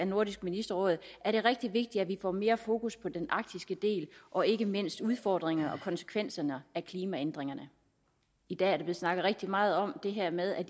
nordisk ministerråd er det rigtig vigtigt at vi får mere fokus på den arktiske del og ikke mindst udfordringerne og konsekvenserne af klimaændringerne i dag er der blevet snakket rigtig meget om det her med at